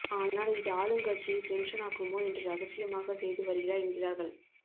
ஆனால் இது ஆளுங்கட்சியை டென்ஷனாக்குமோ என்று ரகசியமாக செய்து வருகிறார் என்கிறார்கள்